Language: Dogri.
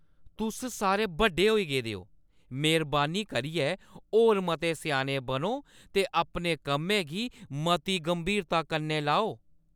तुस सारे बड्डे होई गेदे ओ! मेह्‌रबानी करियै होर मते स्याने बनो ते अपने कम्मै गी मती गंभीरता कन्नै लैओ।